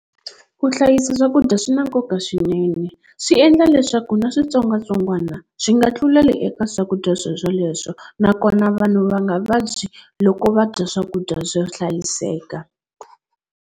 Ku hlayisa swakudya swi na nkoka swinene swi endla leswaku na switsongwatsongwana swi nga tluleli eka swakudya swo sweleswo nakona vanhu va nga vabyi loko va dya swakudya swo hlayiseka.